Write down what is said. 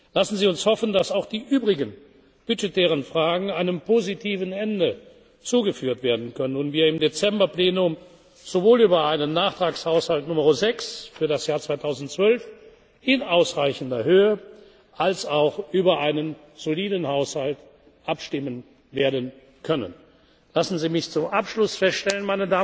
jetzt zur Verfügung gestellt werden kann. Lassen Sie uns hoffen, dass auch die übrigen budgetären Fragen einem positiven Ende zugeführt werden können und wir im Dezember Plenum sowohl über einen Nachtragshaushalt Nr. 6 für das Jahr 2012 in ausreichender Höhe als auch über einen soliden Haushalt 2013 abstimmen werden können. Meine Damen und Herren,